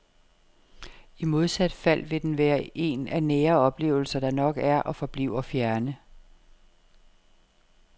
I modsat fald vil den være en af nære oplevelser, der nok er og forbliver fjerne.